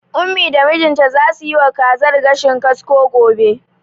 Ummi da mijinta zasu yiwa kazar gashin kasko gobe.